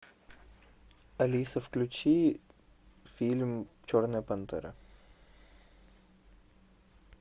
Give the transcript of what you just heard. алиса включи фильм черная пантера